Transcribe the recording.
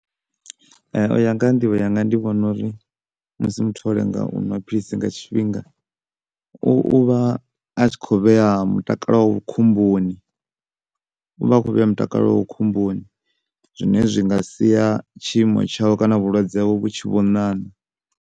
U ya nga ha nḓivho yanga ndi vhona uri musi muthu o lenga u nwa philisi nga tshifhinga u, u vha a tshi kho vhea mutakalo wawe khomboni u vha kho vhea mutakalo wawe khomboni zwine zwi nga sia tshiimo tshawe kana vhulwadze hawe vhu tshi vho ṋaṋa.